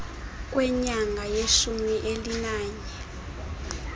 kwenyanga yeshumi elinanye